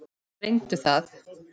Reyndu það.